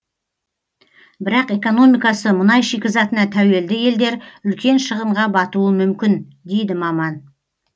бірақ экономикасы мұнай шикізатына тәуелді елдер үлкен шығынға батуы мүмкін дейді маман